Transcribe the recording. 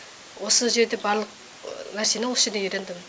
осы жерде барлық нәрсені осы жерде үйрендім